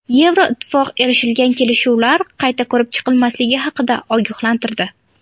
Yevroittifoq erishilgan kelishuvlar qayta ko‘rib chiqilmasligi haqida ogohlantirdi.